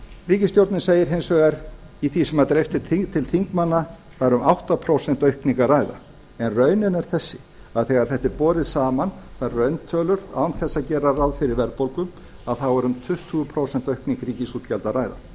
ríkisstjórnin segir hins vegar í því sem er dreift til þingmanna það er um átta prósent aukningu að ræða en raunin er þessi að þegar þetta er borið saman þær rauntölur án þess að gera ráð fyrir verðbólgu þá er um tuttugu prósent aukningu ríkisútgjalda að ræða